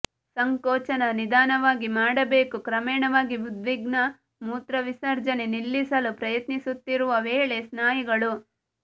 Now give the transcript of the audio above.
ಸಂಕೋಚನ ನಿಧಾನವಾಗಿ ಮಾಡಬೇಕು ಕ್ರಮೇಣವಾಗಿ ಉದ್ವಿಗ್ನ ಮೂತ್ರವಿಸರ್ಜನೆ ನಿಲ್ಲಿಸಲು ಪ್ರಯತ್ನಿಸುತ್ತಿರುವ ವೇಳೆ ಸ್ನಾಯುಗಳು